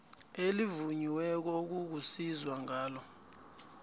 elivunyiweko ozakusizwa ngalo